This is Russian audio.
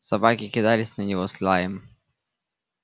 собаки кидались на него с лаем